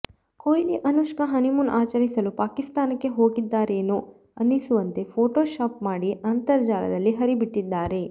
Kohli Anushka honeymoon ಆಚರಿಸಲು ಪಾಕಿಸ್ತಾನಕ್ಕೇ ಹೋಗಿದ್ದಾರೆನೋ ಅನಿಸುವಂತೆ ಫೋಟೊಶಾಪ್ ಮಾಡಿ ಅಂತರ್ಜಾಲದಲ್ಲಿ ಹರಿಬಿಟ್ಟಿದ್ದಾರೆ